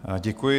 Děkuji.